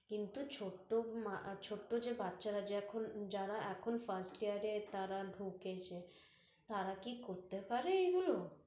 কিন্তু ছোট্টো মা~ ছোট্টো যে বাচ্ছার যে এখন যারা এখন first year তারা ঢুকেছে, তারা কি করতে পারে এইগুলো